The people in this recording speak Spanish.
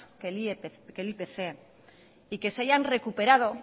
que el ipc y que se hayan recuperado